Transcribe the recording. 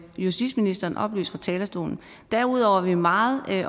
justitsministeren oplyst fra talerstolen derudover er vi meget